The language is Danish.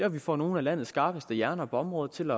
at vi får nogle af landets skarpeste hjerner på området til